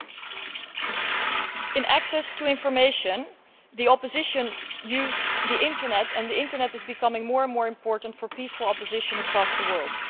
With regard to access to information, the Tunisian opposition used the Internet, and the Internet is becoming more and more important for peaceful opposition across the world.